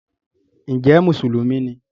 ǹjẹ́ “mùsùlùmí” ni?